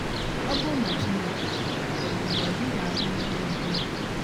Ọ bụrụ na Chineke dị, ọ̀ bụ na ọ dịghị ahụ ihe na - emenụ?